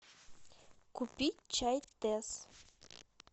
купить чай тесс